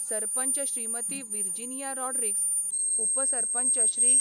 सरपंच श्रीमती विर्जिनिया रॉड्रिग्स, उपसरपंच श्री.